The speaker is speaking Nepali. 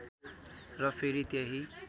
र फेरि त्यही